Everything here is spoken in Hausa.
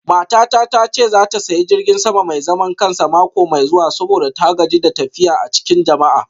Matata ta ce za ta sayi jirgin sama mai zaman kansa mako mai zuwa saboda ta gaji da tafiya a cikin jama'a.